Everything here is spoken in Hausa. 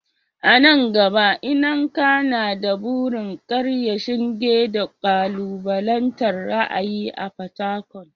A nan gaba, Nneka na da burin karya shinge da kalubalantar ra’ayi a Fatakwal.